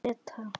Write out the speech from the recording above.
Hvað er ETA?